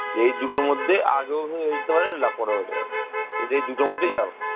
এই দুটোর মধ্যে আগেও হয়ে যেতে পারে পরেও হতে পারে। এই দুটোর মধ্যেই যাবো